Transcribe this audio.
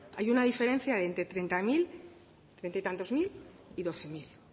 hay una diferencia de entre treinta mil treinta y tantos mil y doce mil diezcero